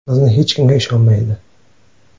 Bizni hech kimga ishonmaydi.